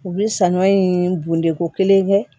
U bɛ saɲɔ in bɔndɛ ko kelen kɛ